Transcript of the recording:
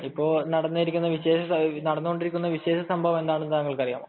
ഇപ്പോൾ നടന്നുകൊണ്ടിരിക്കുന്ന വിശേഷ സംഭവം എന്താണെന്നു താങ്കൾക്ക് അറിയാമോ